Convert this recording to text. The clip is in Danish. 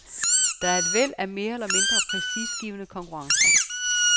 Der er et væld af mere eller mindre prestigegivende konkurrencer.